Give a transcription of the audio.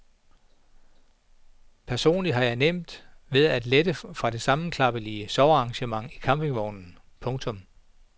Personligt har jeg nemt ved at lette fra det sammenklappelige sovearrangement i campingvognen. punktum